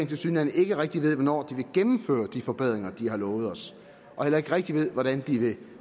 tilsyneladende ikke rigtig ved hvornår de vil gennemføre de forbedringer de har lovet os og heller ikke rigtig ved hvordan de vil